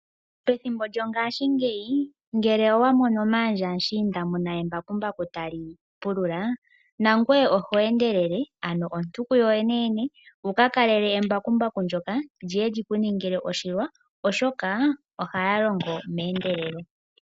Pethimbo lyongashingeyi ngele owa mono maandja mushiinda mu na embakumbaku tali pulula nangoye oho endelele, ano ontuku yoyeneyene wu ka kalele embakumbaku ndyoka li ye li ku ningile oshilwa, oshoka ohali longo meendelelo.